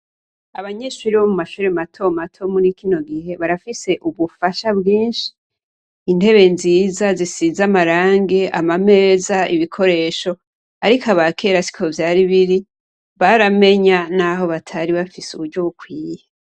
Abanyeshure bo mumashure matomato muri kino gihe, barafise unufasha bwinshi, intebe nziza zisize amarangi, ama meza, ibikoresho. Ariko abakera siko vyari biri baramenya naho batari bafise uburyo bikwiye.